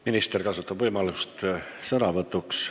Minister kasutab sõnavõtu võimalust.